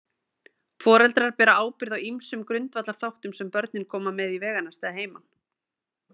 Foreldrar bera ábyrgð á ýmsum grundvallarþáttum sem börnin koma með í veganesti að heiman.